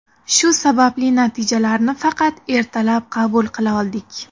Shu sababli natijalarni faqat ertalab qabul qila oldik”.